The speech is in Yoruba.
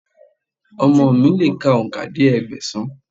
Ọmọ mi lè ka òǹkà dé Ẹgbẹ̀sán.